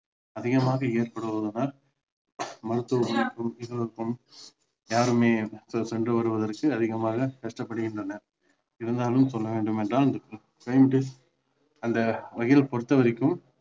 அதிகமாக ஏற்படுவதால் மருத்துவர்களுக்கும் யாருமே சென்று வருவதற்கு அதிகமாக கஷ்டப்படுகின்றன இருந்தாலும் சொல்ல வேண்டும் என்றால் அந்த வகையில் பொறுத்த வரைக்கும்